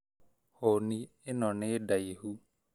Hũni ĩno nĩ ndaihu